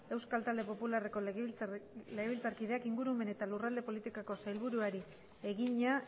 euskal talde popularreko legebiltzarkideak ingurumen eta lurralde politikako sailburuari egina